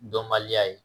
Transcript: Dɔnbaliya ye